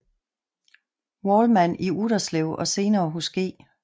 Wallmann i Utterslev og senere hos G